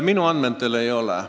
Minu andmetel ei ole.